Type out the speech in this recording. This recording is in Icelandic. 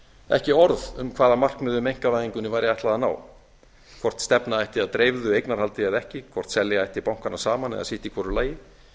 ekki orð um hvaða markmiðum einkavæðingunni væri ætlað að ná hvort stefna ætti að dreifðu eignarhaldi eða ekki hvort selja ætti bankana saman eða sitt í hvoru lagi